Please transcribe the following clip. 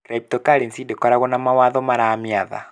Cryptocurrency ndĩkoragwo na mawatho maramĩatha